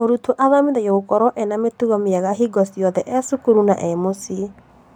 Mũrutwo athomithagio gũkorwo ena mĩtugo mĩega hingo ciothe e cukuru na mũciĩ